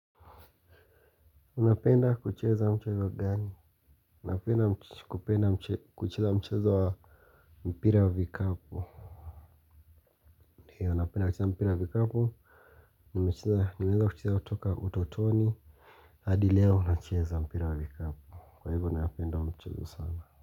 Unapenda kucheza mchezo gani? Napenda kucheza mchezo wa mpira wa vikapu? Napenda kucheza wa mpira wa vikapu. Nimeanza kucheza kutoka utotoni. Hadi leo nacheza mpira wa vikapu. Kwa hivyo napenda huo mchezo sana.